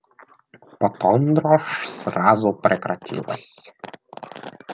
потом дрожь сразу прекратилась